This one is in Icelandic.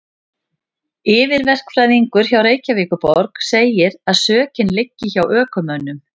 Yfirverkfræðingur hjá Reykjavíkurborg segir að sökin liggi hjá ökumönnum.